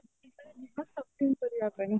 ଯିବା shopping କରିବା ପାଇଁ